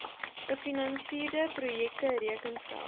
gefinansierde projekte rekenskap